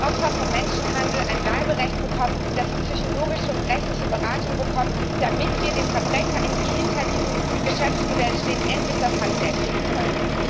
Dass damit Opfer von Menschenhandel ein Bleiberecht bekommen, dass damit sie psychologische und rechtliche Beratung bekommen, und damit wir den Verbrechern, die hinter diesem Geschäftsmodell stehen, endlich das Handwerk legen können.